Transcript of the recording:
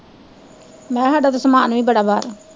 ਮੈਂ ਕਿਹਾ ਸਾਡਾ ਤੇ ਸਮਾਨ ਵੀ ਬੜਾ ਬਾਹਰ